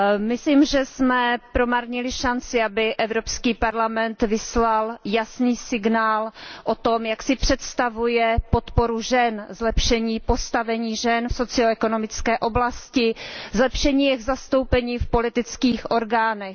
Myslím, že jsme promarnili šanci, aby Evropský parlament vyslal jasný signál o tom, jak si představuje podporu žen, zlepšení postavení žen v socio ekonomické oblasti, zlepšení jejich zastoupení v politických orgánech.